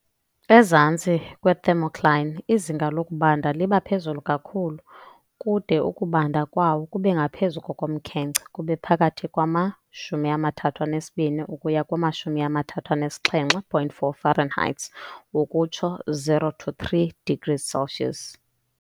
Ezantsi kwe-thermocline, izinga lokubanda libaphezulu kakhulu, kude ukubanda kwawo kubengaphezulu kokomkhenkce - kube phakathi kwama-32 ukuya 37.4 Fahrenheits, ukutsho 0 - 3 degrees Celsius.